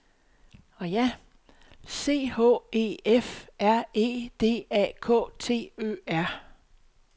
C H E F R E D A K T Ø R